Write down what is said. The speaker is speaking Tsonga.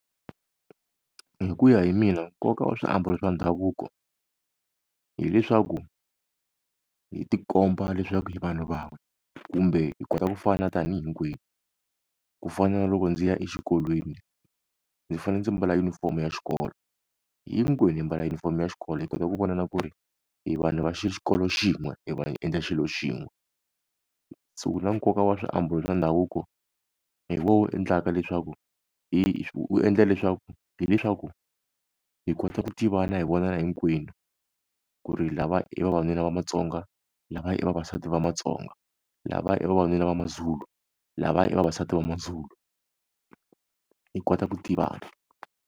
Hi ku ya hi mina nkoka u swiambalo swa ndhavuko, hileswaku, hi ti komba leswaku hi vanhu van'we kumbe hi kota ku fana tanihi hinkwenu. Ku fana na loko ndzi ya exikolweni, ndzi fanele ndzi mbala junifomo ya xikolo. Hinkwerhu hi mbala junifomo ya xikolo, hi kota ku vonana ku ri hi vanhu va xikolo xin'we, hi va hi endla xilo xin'we. Se na nkoka wa swiambalo swa ndhavuko, hi wona wu endlaka leswaku wu endla leswaku hileswaku, hi kota ku tivana hi vonana hinkwenu. Ku ri lavaya i vavanuna va matsonga, lava i vavasati va matsonga lava i vavanuna va maZulu lava i vavasati va maZulu. Hi kota ku tivana.